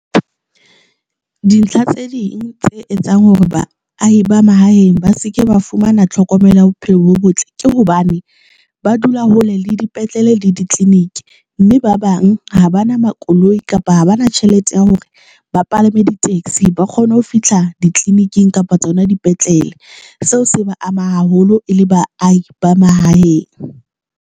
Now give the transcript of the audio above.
Dintlha tse ding tse etsang hore baahi ba mahaeng ba se ke ba fumana tlhokomelo ya bophelo bo botle, ke hobane ba dula hole le dipetlele le ditleliniki, mme ba bang ha ba na makoloi kapa ha ba na tjhelete ya hore ba palame di-taxi ba kgone ho fihla ditleliniking kapa tsona dipetlele. Seo se ba ama haholo e le baahi ba mahaeng.